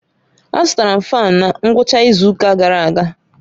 Azụtara m fáan na ngwụcha izu ụka gara aga